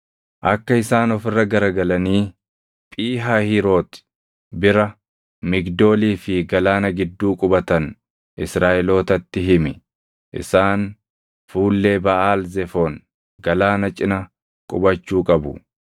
“Akka isaan of irra garagalanii Phii Hahiiroti bira, Migdoolii fi galaana gidduu qubatan Israaʼelootatti himi. Isaan fuullee Baʼaal Zefoon, galaana cina qubachuu qabu.